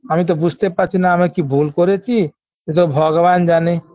আমি তো বুঝতে পারছি না আমি কি ভুল করেছি এতো ভগবান জানে